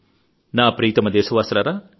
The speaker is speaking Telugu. నా ప్రియతమ దేశవాసులారా